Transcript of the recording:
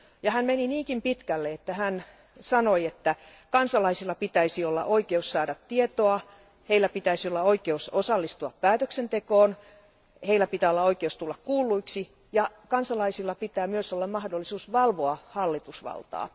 Hän meni niinkin pitkälle, että hän sanoi, että kansalaisilla pitäisi olla oikeus saada tietoa, heillä pitäisi olla oikeus osallistua päätöksentekoon, heillä pitää olla oikeus tulla kuulluiksi ja kansalaisilla pitää myös olla mahdollisuus valvoa hallitusvaltaa.